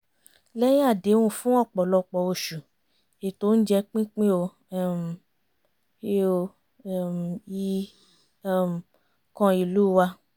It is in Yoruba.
lẹ́yìn àdẹ́hùn fún ọ̀pọ̀lọpọ̀ oṣù ètò oúnjẹ pínpín ò um ì ò um ì um kan ìlú wa